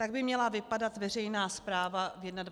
Tak by měla vypadat veřejná správa v 21. století.